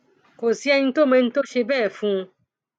kò sí ẹni tó mọ ẹni tó ṣe bẹẹ fún un